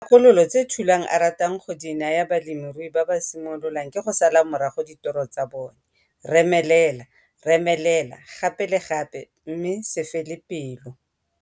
Dikgakologo tse Thulan a ratang go di naya balemirui ba ba simololang ke go sala morago ditoro tsa bona, remelela, remelela gape le gape mme se fele pelo.